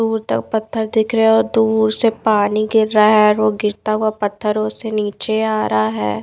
दूर तक पत्थर दिख रहे है और दूर से पानी गिर रहा है और वो गिरता हुआ पत्थरों से नीचे आ रहा है।